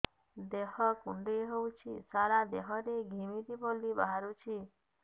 ଦେହ କୁଣ୍ଡେଇ ହେଉଛି ସାରା ଦେହ ରେ ଘିମିରି ଭଳି ବାହାରୁଛି